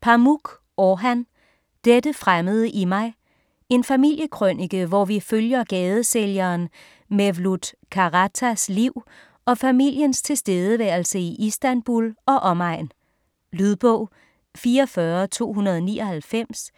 Pamuk, Orhan: Dette fremmede i mig En familiekrønike hvor vi følger gadesælgeren Mevlut Karatas liv og familiens tilværelse i Istanbul og omegn. Lydbog 44299